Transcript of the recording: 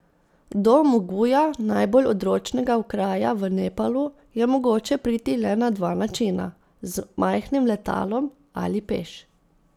Do Muguja, najbolj odročnega okraja v Nepalu, je mogoče priti le na dva načina, z majhnim letalom ali peš.